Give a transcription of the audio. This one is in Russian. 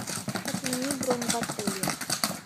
отмени бронь в отеле